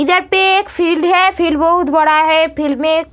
इधर पे एक फिल्ड है फिल्ड बहुत बड़ा है फिल्ड में एक --